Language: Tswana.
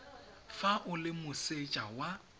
fa o le moseja wa